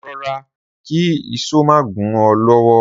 Ro̩ra kí ìs̩ó má gún o̩ ló̩wó̩!